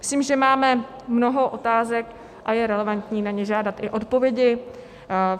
Myslím, že máme mnoho otázek a je relevantní na ně žádat i odpovědi.